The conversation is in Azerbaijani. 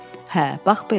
Hə, bax belə.